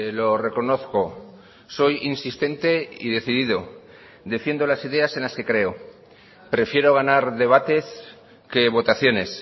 lo reconozco soy insistente y decidido defiendo las ideas en las que creo prefiero ganar debates que votaciones